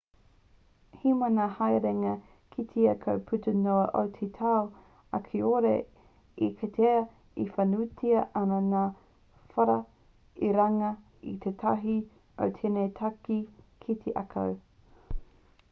he maha ngā haerenga ki te ākau puta noa i te tau ā kāore e kitea whānuitia ana ngā whara i runga i tētahi o ēnei take ki te ākau